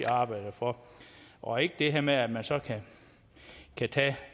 arbejder for og ikke det her med at man så kan tage